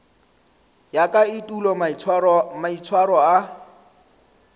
ya ka etulo maitshwaro a